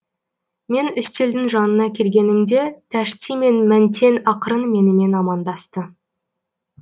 мен үстелдің жанына келгенімде тәшти мен мәнтен ақырын менімен амандасты